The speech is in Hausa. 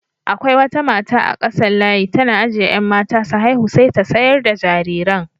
Akwai wata mata a kasan layi tana ajiye 'yan mata su haihu sai ta sayar da jariran.